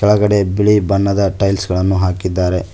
ಒಳ್ಗಡೆ ಬಿಳಿ ಬಣ್ಣದ ಟೈಲ್ಸ್ ಗಳನ್ನು ಹಾಕಿದ್ದಾರೆ.